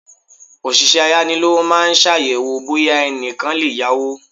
Òṣìṣẹ́ ayánilówó maa ṣàyẹ̀wò bóyá ẹnìkan lè yá owó.